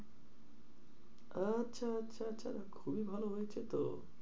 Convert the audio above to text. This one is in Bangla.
আচ্ছা, আচ্ছা, আচ্ছা, আচ্ছা খুবই ভালো হয়েছে তো।